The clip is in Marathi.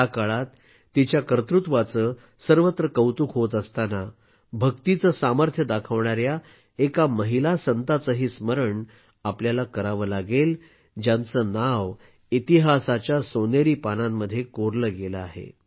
या काळात तिच्या कर्तृत्वाचे सर्वत्र कौतुक होत असताना भक्तीचे सामर्थ्य दाखविणाऱ्या एका महिला संताचेही स्मरण आपल्याला करावे लागेल ज्यांचे नाव इतिहासाच्या सोनेरी पानांमध्ये कोरले गेले आहे